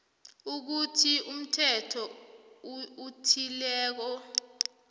ukuthi umthetho othileko